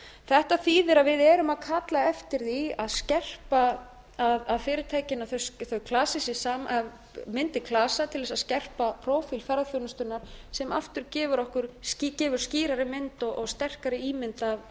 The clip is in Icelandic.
þetta þýðir að við erum að kalla eftir því að skerpa að fyrirtækin þau klasi sig saman myndi klasa til að skerpa prófíl ferðaþjónustunnar sem aftur gefur skýrari mynd og sterkari ímynd af